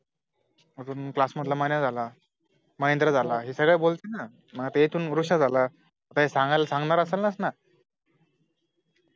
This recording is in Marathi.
आजून class मधला मन्या झाला महेंद्र झाला, हे सगळे बोलतील ना मग आता इथून वृष्य झाला, काई सांगायला सांगणार असेलंचना